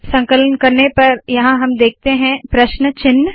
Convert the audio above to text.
संकलन करने पर यहाँ हम देखते है प्रश्न चिन्ह